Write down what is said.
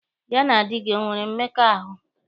Ya na di gị o nwere mmekọahụ?